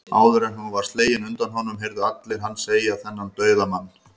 Áður en hún var slegin undan honum, heyrðu allir hann segja, þennan dauðamann